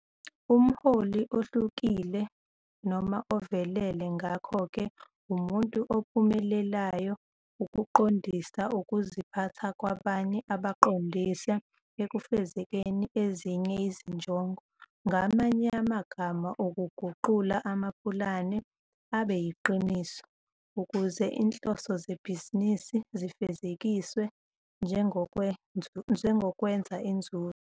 Umholi ohlukile noma ovelele ngakho ke umuntu ophumelelayo ukuqondisa ukuziphatha kwabanye abaqondise ekufezekiseni ezinye izinjongo, ngamanye amagama uguqula amapulane abe yiqiniso, ukuze izinhloso zebhizinisi zifezekiswe, njengokwenza inzuzo.